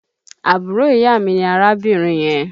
Àbúrò ìyá mi ní arábìnrin yẹn